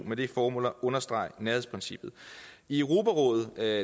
med det formål at understrege nærhedsprincippet i europarådet er